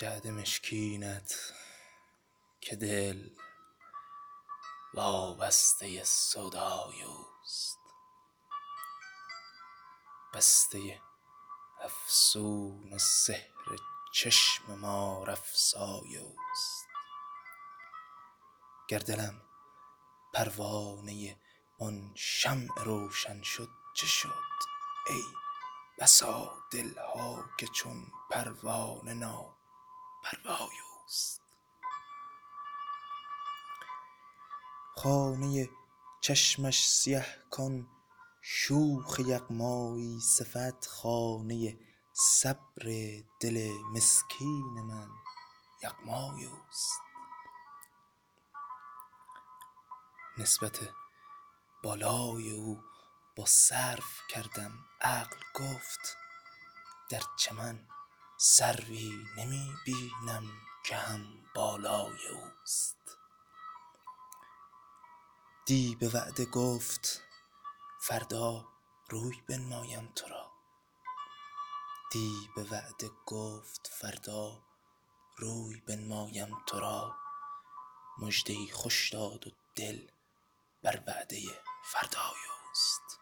جعد مشکینت که دل وابسته سودای اوست بسته افسون سحر چشم مارافسای اوست گر دلم پروانه آن شمع روشن شد چه شد ای بسا دل ها که چون پروانه ناپروای اوست خانه چشمش سیه کان شوخ یغمایی صفت خانه صبر دل مسکین من یغمای اوست نسبت بالای او با سرو کردم غقل گفت در چمن سروی نمی بینم که هم بالای اوست دی به وعده گفت فردا روی بنمایم ترا مژده ای خوش داد و دل بر وعده فردای اوست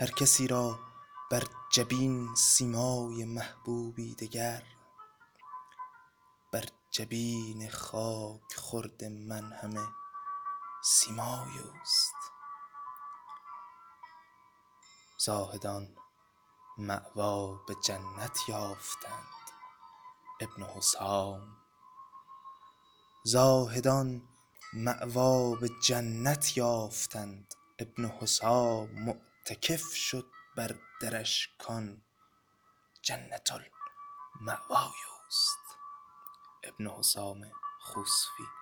هرکسی را بر جبین سیمای محبوبی دگر بر جبین خاک خورد من همه سیمای اوست زاهدان مأوی به جنت یافتند ابن حسام معتکف شد بر درش کان جنت المأوای اوست